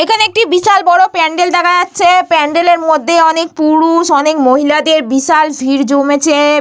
এখানে একটি বিশাল বড় প্যান্ডেল দেখাচ্ছে প্যান্ডেল -এর মধ্যে অনেক পুরুষ অনেক মহিলাদের বিশাল ভিড় জমেছে।